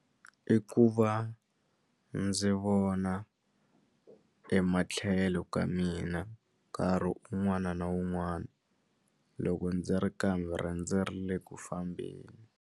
I ku va ndzi vona ematlhelo ka mina nkarhi un'wana na un'wana loko ndzi ri karhi ndzi ri le ku fambeni.